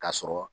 K'a sɔrɔ